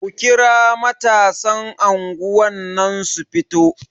Ku kira matasan anguwar nan su fito!